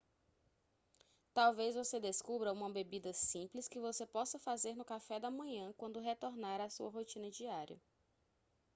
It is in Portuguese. talvez você descubra uma bebida simples que você possa fazer no café da manhã quando retornar à sua rotina diária